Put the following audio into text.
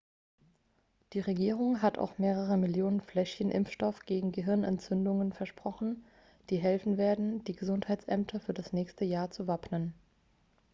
die regierung hat auch mehrere millionen fläschchen impfstoff gegen gehirnentzündung versprochen die helfen werden die gesundheitsämter für das nächste jahr zu wappnen